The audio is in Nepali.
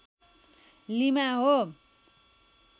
लिमा हो